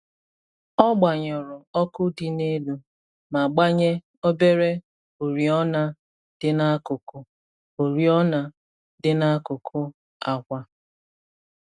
Ọ gbanyụrụ ọkụ dị n’elu ma gbanye obere oriọna dị n’akụkụ oriọna dị n’akụkụ akwa.